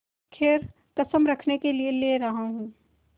खैर कसम रखने के लिए ले रहा हूँ